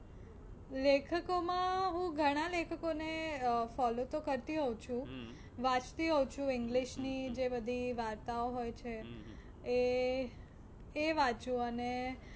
લેખકો માં હું ઘણા લેખકો ને અ follow તો કરતી હોઉ છુ, વાંચતી હોઉ છું english ની જે બધી વાર્તાઓ હોય છે એ એ વાંચું અને